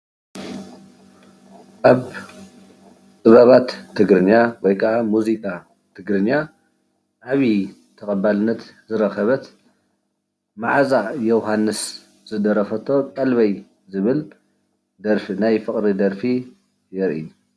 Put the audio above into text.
ኣብ ጥበባት ትግርኛ ወይ ካዓ ሙዚቃ ትግርኛ ዓብይ ተቀባልነት ዝረኸበት ማዓዛ ዮውሃንስ ዝደረፈቶ ቀልበይ ዝብል ናይ ፍቅሪ ደርፊ የርኢ።